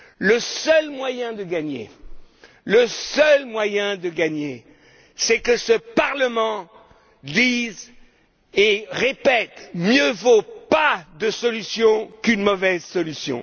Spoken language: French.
Le seul moyen de gagner, c'est que ce Parlement dise et répète Mieux vaut pas de solution qu'une mauvaise solution.